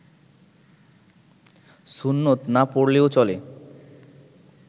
সুন্নত না পড়লেও চলে